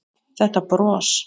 Þetta bros!